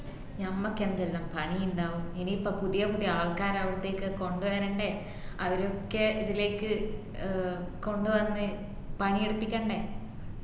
ഞമ്മക്ക് എന്തെല്ലാം പണി ഇണ്ടാവും ഇനിയിപ്പം പുതിയപുതിയ ആൾക്കരവുംബൊത്തേക്ക് കൊണ്ടവരണ്ടേ അവരൊക്കെ ഇതിലേക്ക് ആഹ് കൊണ്ടുവന്നു പണി എടുപ്പിക്കണ്ടേ